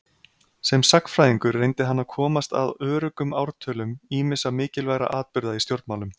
Sem sagnfræðingur reyndi hann að komast að öruggum ártölum ýmissa mikilvægra atburða í stjórnmálum.